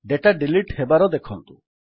data delete ହେବାର ଦେଖନ୍ତୁ